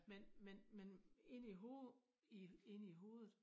Men men men inde i hovedet i inde i hovedet